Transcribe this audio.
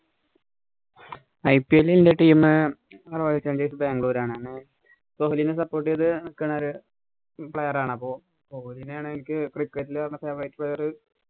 IPL ല്‍ ഇന്‍റെ teamRoyal Challengers Bangalore ആണെണ് കൊഹ്ലിനെ support ചെയ്ത് നിക്കണൊരു player ആണപ്പോ കൊഹിലിനാണ് എന്ക്ക് cricket ല് favouriteplayer